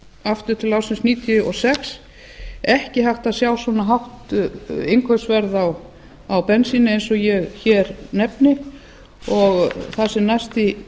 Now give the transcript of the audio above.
aftur til ársins níutíu og sex ekki hægt að sjá svona hátt innkaupsverð á bensíni eins og ég hér nefni og það sem